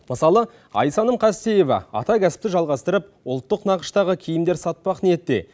мысалы айсәнім қастеева ата кәсіпті жалғастырып ұлттық нақыштағы киімдер сатпақ ниетте